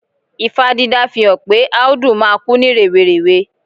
Ifá dídá fihan pe Áúdú máa kú ní rèwerèwe